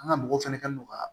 An ga mɔgɔ fɛnɛ kɛlen don ka